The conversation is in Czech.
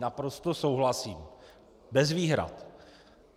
Naprosto souhlasím, bez výhrad.